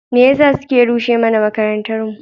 Me yasa suke rushe mana makarantarmu?